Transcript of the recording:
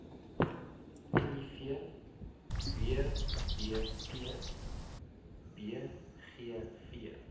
miv wbp bgv